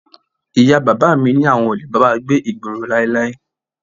Ìyá bàbá mi ní àwọn ò lè bá wa gbé ìgboro láíláí